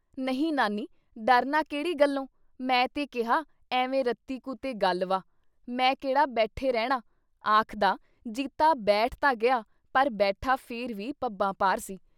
ਨਹੀਂ ਨਾਨੀ। ਡਰਨਾ ਕੇਹੜੀ ਗੱਲੋਂ? ਮੈਂ ਤੇ ਕਿਹਾ ਐਵੇਂ ਰਤੀ ਕੁ ਤੇ ਗੱਲ ਵਾ। ਮੈਂ ਕਿਹੜਾ ਬੈਠੇ ਰਹਿਣਾ ? ਆਖਦਾ ਜੀਤਾ ਬੈਠ ਤਾਂ ਗਿਆ ਪਰ ਬੈਠਾ ਫਿਰ ਵੀ ਪੱਬਾਂ ਭਾਰ ਸੀ।